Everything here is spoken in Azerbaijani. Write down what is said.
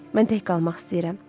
Mən tək qalmaq istəyirəm.